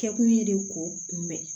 Kɛkun ye de ko kunbɛn